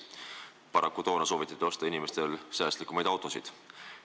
Paraku soovitati toona inimestele säästlikumaid autosid osta.